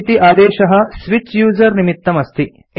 सु इति आदेशः स्विच यूजर निमित्तम् अस्ति